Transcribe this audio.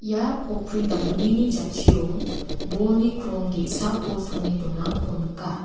ia pokkri damgnini jatchio bolni krong ge·sako songe donako nika.